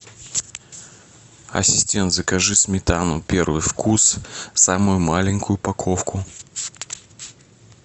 ассистент закажи сметану первый вкус самую маленькую упаковку